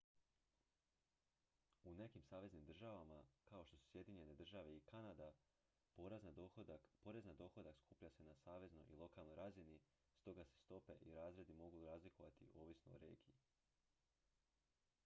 u nekim saveznim državama kao što su sjedinjene države i kanada porez na dohodak skuplja se na saveznoj i lokalnoj razini stoga se stope i razredi mogu razlikovati ovisno o regiji